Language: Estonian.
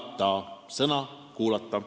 Rõhk on sõnal "kuulata".